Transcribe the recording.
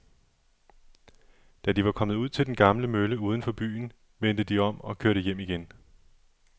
Da de var kommet ud til den gamle mølle uden for byen, vendte de om og kørte hjem igen.